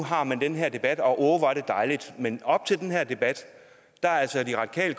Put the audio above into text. har man den her debat og åh hvor er det dejligt men op til den her debat er de radikale